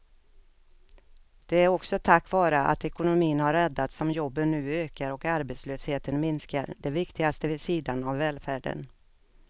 Det är också tack vare att ekonomin har räddats som jobben nu ökar och arbetslösheten minskar, det viktigaste vid sidan av välfärden.